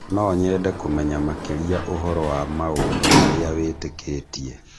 No nyende kũmenya makĩria ũhoro wa maũndũ marĩa wĩtĩkĩtie